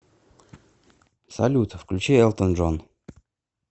салют включи элтон джон